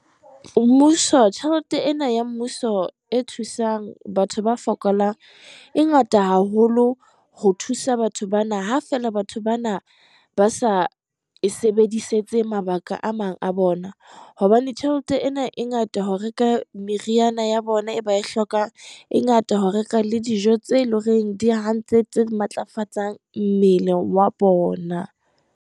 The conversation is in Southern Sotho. Mmuso, tjhelete ena ya Mmuso e thusang batho ba fokolang, e ngata haholo ho thusa batho bana. Ha feela batho bana ba sa e sebedisetse mabaka ka a mang a bona, hobane tjhelete ena e ngata ho reka meriana ya bona, e ba e hlokang, e ngata ho reka le dijo tseo eleng hore di hantle tse matlafatsang mmele wa bona.